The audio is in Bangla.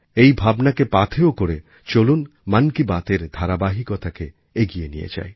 এই ভাবনাকে পাথেয় করে চলুন মন কি বাতএর ধারাবাহিকতাকে এগিয়ে নিয়ে যাই